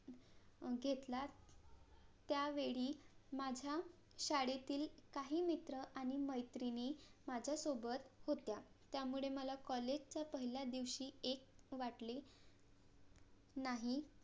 घेतला त्यावेळी माझ्या शाळेतील काही मित्र आणि मैत्रिणी माझ्या सोबत होत्या त्यामुळे मला college च्या पहिल्या दिवशी एक वाटले नाही